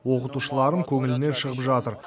оқытушыларым көңілімнен шығып жатыр